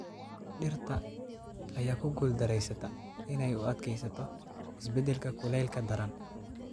Dhirta ayaa ku guuldareysata inay u adkeysato isbeddelka kuleylka daran.